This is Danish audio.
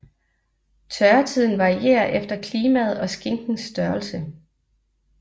Tørretiden varierer efter klimaet og skinkens størrelse